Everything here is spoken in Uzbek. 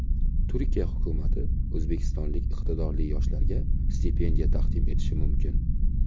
Turkiya hukumati o‘zbekistonlik iqtidorli yoshlarga stipendiya taqdim etishi mumkin.